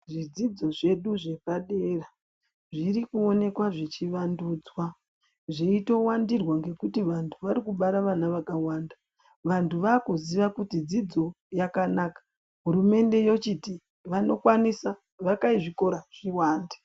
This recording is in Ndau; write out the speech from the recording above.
Zvidzidzo zvedu zvepadera, zvirikuonekwa zvichivandudzwa, zveitowandirwa ngekuti vantu varikubara vana vakawanda. Vantu vakuziya kuti dzidzo yakanaka. Hurumende yochiti vanokwanisa, vakai zvikora zviwande.